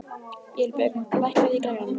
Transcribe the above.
Vébjörg, lækkaðu í græjunum.